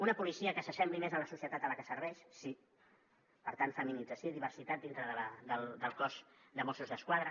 una policia que s’assembli més a la societat a la que serveix sí per tant feminització i diversitat dintre del cos de mossos d’esquadra